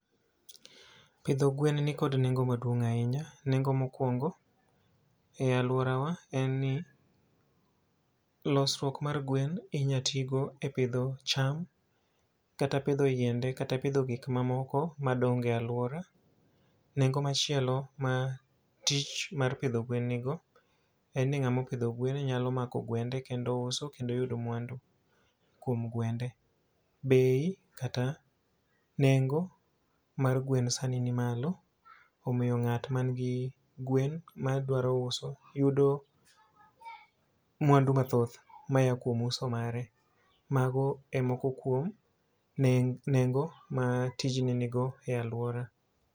Pidho gwen nikod nengo maduong' ahinya. Nengo ma okwongo, e alwora wa en ni, losruok mar gwen inya ti go e pidho cham, kata pidho yiende, kata pidho gik ma moko ma dongo e alwora. Nengo machielo ma tich mar pidho gwen nigo, en ni ngáma opidho gwen nyalo mako gwende, kendo uso, kendo yudo mwandu kuom gwende. Bei, kata nengo mar gweno sani ni malo. Omiyo ngát ma nigi gwen ma dwaro uso, yudo mwandu mathoth, maya kuom uso mare. Mago e moko kuom nengo ma tijni nigo e alwora.